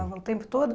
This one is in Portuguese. Falava o tempo todo?